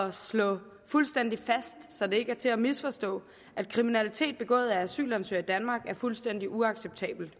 at slå fuldstændig fast så det ikke er til at misforstå at kriminalitet begået af asylansøgere i danmark er fuldstændig uacceptabelt